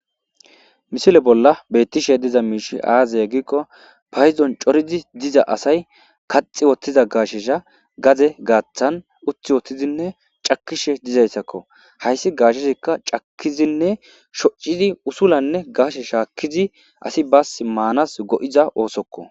Misile bolla beettishe diza miishi aazaya giikko payizon corizi diza asay kaxi wottiza gaashesha gaze gaaththan uthi wotizinne cakishe dizayssakko hayssi gaasheshikka cakizinne shoccizi usulanne gaashe shaakkizi asi baas maanas go'iza oosokko.